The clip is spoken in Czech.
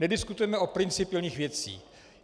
Nediskutujeme o principiálních věcech.